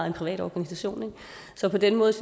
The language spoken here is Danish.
en privat organisation så på den måde